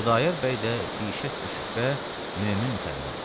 Xudayar bəy də bişək küşübhə mömin müsəlmandır.